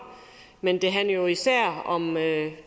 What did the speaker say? men det handler jo især om